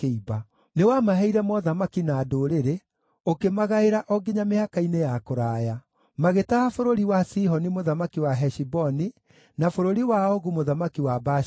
“Nĩwamaheire mothamaki na ndũrĩrĩ, ũkĩmagaĩra o nginya mĩhaka-inĩ ya kũraya. Magĩtaha bũrũri wa Sihoni mũthamaki wa Heshiboni, na bũrũri wa Ogu mũthamaki wa Bashani.